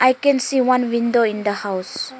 i can see one window in the house.